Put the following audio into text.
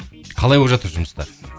қалай болып жатыр жұмыста